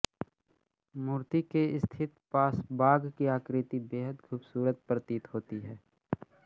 मूर्ति के स्थित पास बाघ की आकृति बेहद खूबसूरत प्रतीत होती है